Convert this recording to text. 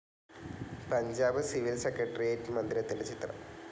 Punjab civil secretariat മന്ദിരത്തിന്റെ ചിത്രം